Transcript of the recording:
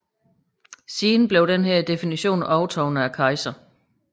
Siden overtogs denne definition af kejseren